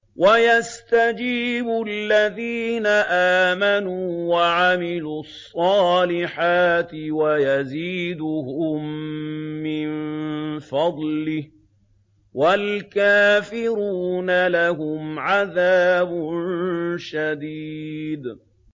وَيَسْتَجِيبُ الَّذِينَ آمَنُوا وَعَمِلُوا الصَّالِحَاتِ وَيَزِيدُهُم مِّن فَضْلِهِ ۚ وَالْكَافِرُونَ لَهُمْ عَذَابٌ شَدِيدٌ